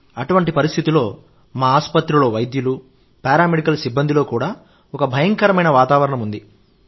అటువంటి పరిస్థితిలో మా ఆసుపత్రిలో వైద్యులు పారామెడికల్ సిబ్బందిలో కూడా ఒక భయంకరమైన వాతావరణం ఉంది